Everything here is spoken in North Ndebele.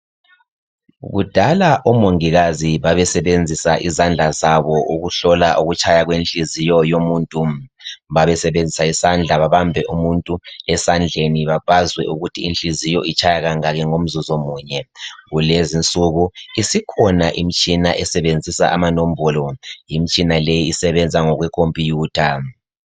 Kudala omongikazi babesebenzisa izandla zabo ukuhlola ukutshaya kwenhliziyo yomuntu. Babesebenzisa isandla babambe umuntu bazwe ukuthi inhliziyo itshaya kangaki ngomzuzu munye. Kulezinsuku isikhona imitshina esebenzìsa amanombolo. Limitshina isebenza ngokwekhompuyutha.